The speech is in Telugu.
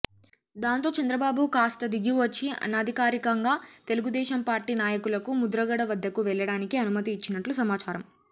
దాంతో చంద్రబాబు కాస్తా దిగి వచ్చి అనధికారికంగా తెలుగుదేశం పార్టీ నాయకులకు ముద్రగడ వద్దకు వెళ్లడానికి అనుమతి ఇచ్చినట్లు సమాచారం